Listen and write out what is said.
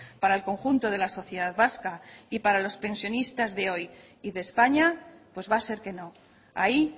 para el conjunto de la sociedad vasca y para los pensionistas de hoy y de españa pues va a ser que no ahí